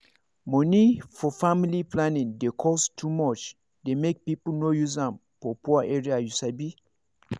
money for family planning dey cost too much dey make people no use am for poor area you sabi